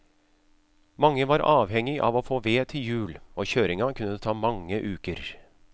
Mange var avhengig av å få ved til jul, og kjøringa kunne ta mange uker.